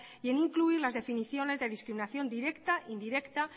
y en incluir las definiciones de discriminación directa indirecta